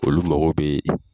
Olu mago bɛ